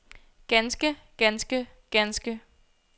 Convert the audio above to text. ganske ganske ganske